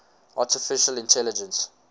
artificial intelligence